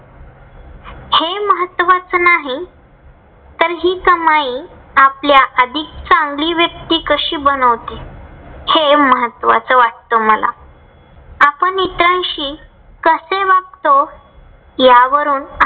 तर नाही. तर हि कमाई आपल्याला अधिक चांगली व्यक्ती कशी बनवते. हे महत्वाच वाटते मला. आपण इतरांशी कसे वागतो. यावरून